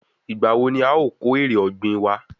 Ìgbà wo ni a o kó èrè ọ̀gbìn wa?